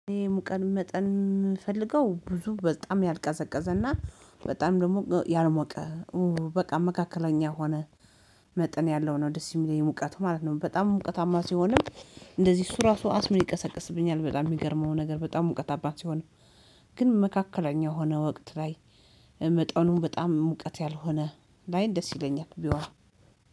እኔ ሙቀር መጠን የምፈልገው ብዙ በጣም ያልቀዘቀዘና በጣም ደግሞ ያልሞቀ በቃ መካከለኛ ሆነ መጠን ያለው ነው ደስ የሚለኝጨሙቀቱ ማለት ነው። በጣም ሙቀታማ ሲሆንም እንደዚህ እሱ ራሱ አስሜ ይቀሰቅስብኛል በጣም የሚገርመው ነገር በጣም እውቀት አባት ሲሆን ግን መካከለኛ የሆነ ወቅት ላይ መጠኑ በጣም ሙቀት ያልሆነ ላይ ደስ ይለኛል ቢሆን